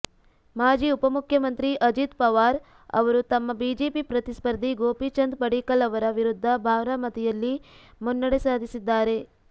ಮಾಜಿ ಉಪಮುಖ್ಯಮಂತ್ರಿ ಅಜಿತ್ ಪವಾರ್ ಅವರು ತಮ್ಮ ಬಿಜೆಪಿ ಪ್ರತಿಸ್ಪರ್ಧಿ ಗೋಪಿಚಂದ್ ಪಡಲ್ಕರ್ ಅವರ ವಿರುದ್ಧ ಬಾರಾಮತಿಯಲ್ಲಿ ಮುನ್ನಡೆ ಸಾಧಿಸಿದ್ದಾರೆ